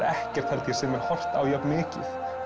ekkert held ég sem er horft á jafn mikið